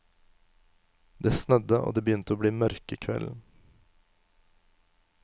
Det snødde, og det begynte å bli mørke kvelden.